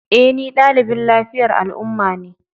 E, ni ɗalibin lafiyar al'umma ne.